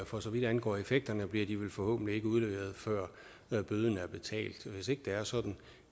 for så vidt angår effekterne bliver de forhåbentlig ikke udleveret før bøden er betalt hvis ikke det er sådan